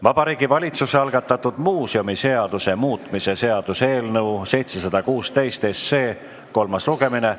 Vabariigi Valitsuse algatatud muuseumiseaduse muutmise seaduse eelnõu 716 kolmas lugemine.